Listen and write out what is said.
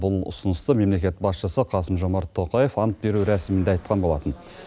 бұл ұсынысты мемлекет басшысы қасым жомарт тоқаев ант беру рәсімінде айтқан болатын